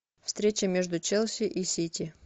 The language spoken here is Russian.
встреча между челси и сити